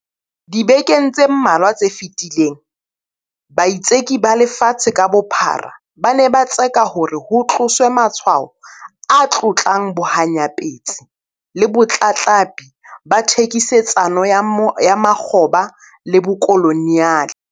Dibekeng tse mmalwa tse fetileng, baitseki ba lefatshe ka bophara ba ne ba tseka hore ho tloswe matshwao a tlotlang bohanyapetsi le botlatlapi ba thekisetsano ya makgoba le bokoloniale.